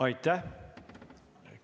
Aitäh!